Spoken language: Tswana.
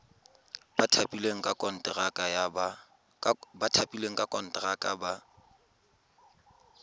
ba thapilweng ka konteraka ba